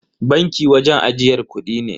Banki wajen ajiyar kudi ne.